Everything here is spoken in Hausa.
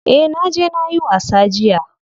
Eh naje nayi wasa jiya.